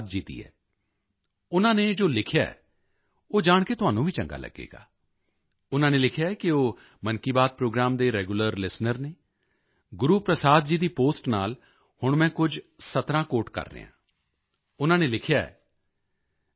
ਗੁਰੂਪ੍ਰਸਾਦ ਜੀ ਦੀ ਹੈ ਉਨ੍ਹਾਂ ਨੇ ਜੋ ਲਿਖਿਆ ਹੈ ਉਹ ਜਾਣ ਕੇ ਤੁਹਾਨੂੰ ਵੀ ਚੰਗਾ ਲੱਗੇਗਾ ਉਨ੍ਹਾਂ ਨੇ ਲਿਖਿਆ ਹੈ ਕਿ ਉਹ ਮਨ ਕੀ ਬਾਤ ਪ੍ਰੋਗਰਾਮ ਦੇ ਰੈਗੂਲਰ ਲਿਸਟੇਨਰ ਹਨ ਗੁਰੂਪ੍ਰਸਾਦ ਜੀ ਦੀ ਪੋਸਟ ਨਾਲ ਹੁਣ ਮੈਂ ਕੁਝ ਸਤਰਾਂ ਕੋਟ ਕਰ ਰਿਹਾ ਹਾਂ ਉਨ੍ਹਾਂ ਨੇ ਲਿਖਿਆ ਹੈ